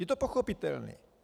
Je to pochopitelné.